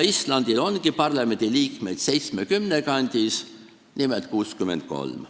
Islandil ongi parlamendiliikmeid 70 kandis, nimelt 63.